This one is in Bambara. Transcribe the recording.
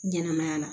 Ɲɛnɛmaya la